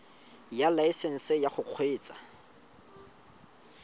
ya laesesnse ya go kgweetsa